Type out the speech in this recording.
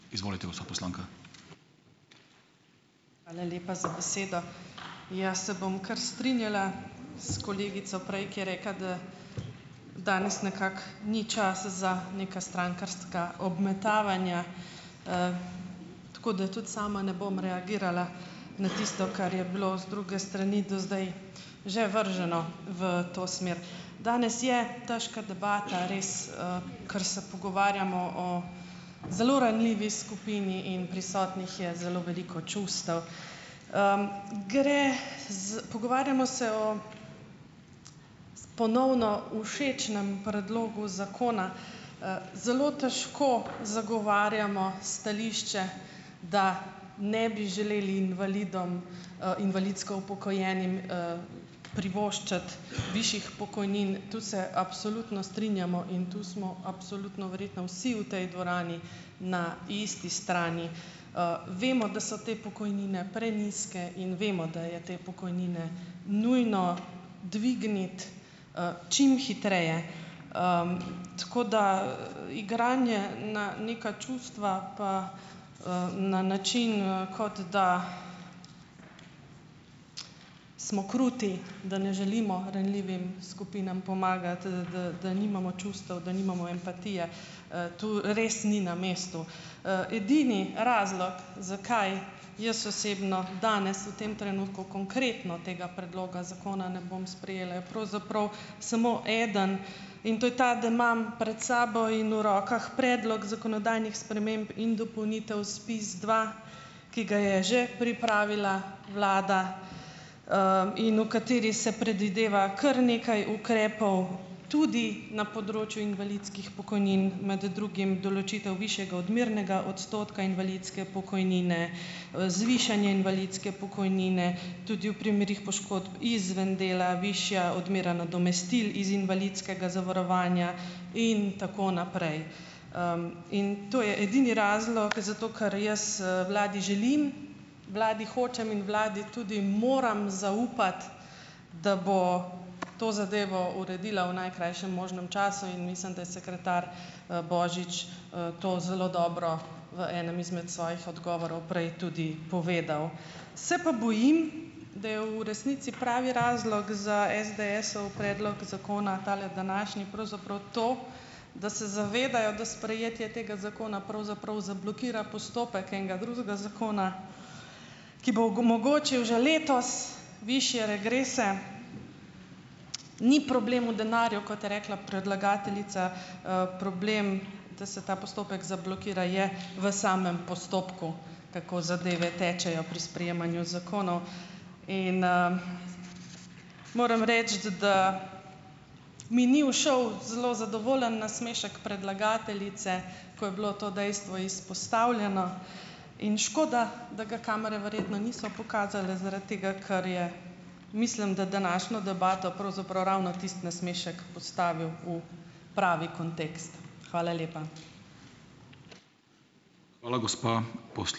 Hvala lepa za besedo. Ja, se bom kar strinjala s kolegico prej, ki je rekla, da danes nekako ni časa za neka strankarska obmetavanja. Tako da tudi sama ne bom reagirala na tisto, kar je bilo z druge strani do zdaj že vrženo v to smer. Danes je težka debata, res, ker se pogovarjamo o zelo ranljivi skupini in prisotnih je zelo veliko čustev. Gre Pogovarjamo se o ponovno všečnem predlogu zakona. Zelo težko zagovarjamo stališče, da ne bi želeli invalidom, invalidsko upokojenim, privoščiti višjih pokojnin; tu se absolutno strinjamo in tu smo absolutno verjetno vsi v tej dvorani na isti strani. Vemo, da so te pokojnine prenizke, in vemo, da je te pokojnine nujno dvigniti, čim hitreje. Tako da, igranje na neka čustva pa, na način, kot da smo kruti, da ne želimo ranljivim skupinam pomagati, da da da nimamo čustev, da nimamo empatije, to res ni na mestu. Edini razlog, zakaj jaz osebno danes v tem trenutku konkretno tega predloga zakona ne bom sprejela, je pravzaprav samo eden. In to je ta, da imam pred sabo in v rokah predlog zakonodajnih sprememb in dopolnitev SPIZdva, ki ga je že pripravila vlada, in v katerem se predvideva kar nekaj ukrepov, tudi na področju invalidskih pokojnin, med drugim določitev višjega odmernega odstotka invalidske pokojnine, zvišanje invalidske pokojnine, tudi v primerih poškodb izven dela, višja odmera nadomestil iz invalidskega zavarovanja in tako naprej. In to je edini razlog, zato ker jaz vladi želim, vladi hočem in vladi tudi moram zaupati, da bo to zadevo uredila v najkrajšem možnem času in mislim, da je sekretar, Božič, to zelo dobro v enem izmed svojih odgovorov prej tudi povedal. Se pa bojim, da je v resnici pravi razlog za SDS-ov predlog zakona tale današnji pravzaprav to, da se zavedajo, da sprejetje tega zakona pravzaprav zablokira postopek enega drugega zakona, ki bo omogočil že letos višje regrese. Ni problem v denarju, kot je rekla predlagateljica, problem, da se ta postopek zablokira je v samem postopku, tako zadeve tečejo pri sprejemanju zakonov. In, moram reči, da mi ni ušel zelo zadovoljen nasmešek predlagateljice, ko je bilo to dejstvo izpostavljeno. In škoda, da ga kamere verjetno niso pokazale, zaradi tega, ker je, mislim da, današnjo debato pravzaprav ravno tisti nasmešek postavil u pravi kontekst. Hvala lepa.